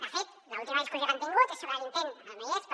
de fet l’última discussió que han tingut és sobre l’intent ara no hi és però